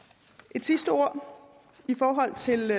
et sidste ord i forhold til